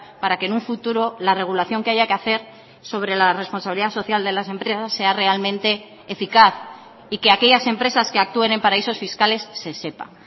para que en un futuro la regulación que haya que hacer sobre la responsabilidad social de las empresas sea realmente eficaz y que aquellas empresas que actúen en paraísos fiscales se sepa